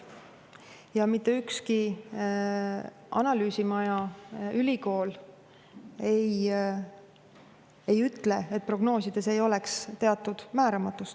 Ja mitte ükski analüüsimaja ega ülikool ei ütle, et prognoosides ei ole teatud määramatust.